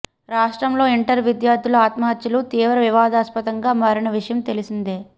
రాష్ట్రంలో ఇంటర్ విద్యార్థుల ఆత్మహత్యలు తీవ్ర వివాదాస్పందంగా మారిన విషయం తెలిసిందే